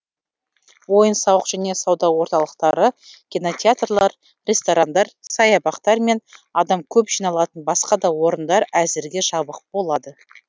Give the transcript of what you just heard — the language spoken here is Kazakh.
ойын сауық және сауда орталықтары кинотеатрлар ресторандар саябақтар мен адам көп жиналатын басқа да орындар әзірге жабық болады